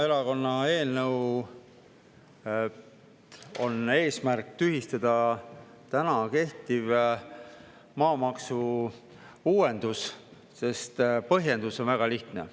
Isamaa eelnõu eesmärk on tühistada täna kehtiv maamaksu uuendus, sest põhjendus on väga lihtne.